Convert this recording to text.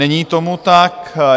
Není tomu tak.